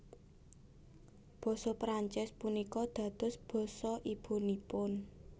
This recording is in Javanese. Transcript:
Basa Prancis punika dados basa ibunipun